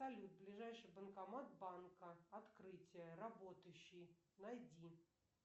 салют ближайший банкомат банка открытие работающий найди